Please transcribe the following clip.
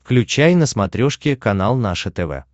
включай на смотрешке канал наше тв